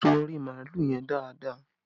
Sun orí màálù yẹn dáadáa!